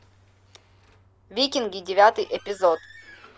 викинги девятый эпизод